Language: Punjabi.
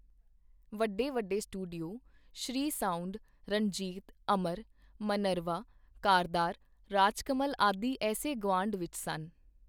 ਵੱਡੇ-ਵੱਡੇ studio, Shree sound, Ranjit, Amar, Minerva, Kardar, Rajkamal ਆਦਿ ਏਸੇ ਗੁਆਂਢ ਵਿਚ ਸਨ.